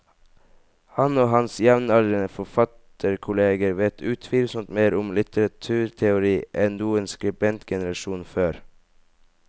Han og hans jevnaldrende forfatterkolleger vet utvilsomt mer om litteraturteori enn noen skribentgenerasjon før.